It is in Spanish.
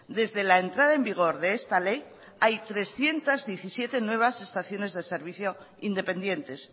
desde la entrada en vigor de esta ley hay trescientos diecisiete nuevas estaciones de servicio independientes